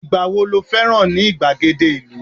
igba wo lo féràn ni igbagede ìlú